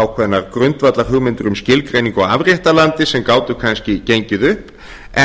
ákveðnar grundvallarhugmyndir um skilgreiningu á afréttarlandi sem gátu kannski gengið upp